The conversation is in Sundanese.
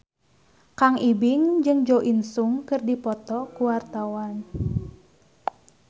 Kang Ibing jeung Jo In Sung keur dipoto ku wartawan